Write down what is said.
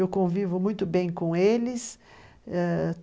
Eu convivo muito bem com eles ãh.